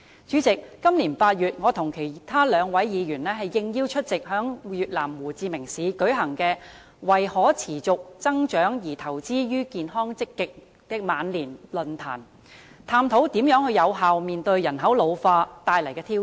主席，今年8月，我和兩位議員應邀出席在越南胡志明市舉行題為"為可持續增長而投資於健康積極的晚年"的論壇，探討如何有效面對人口老化帶來的挑戰。